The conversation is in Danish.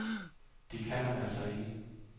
Det kan man altså ikke.